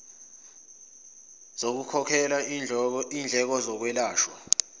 zokukhokhela indleko zokwelashwa